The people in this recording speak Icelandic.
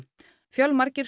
fjölmargir